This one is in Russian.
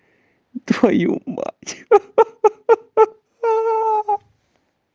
твою мать ха-ха